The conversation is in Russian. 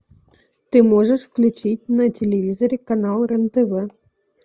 ты можешь включить на телевизоре канал рен тв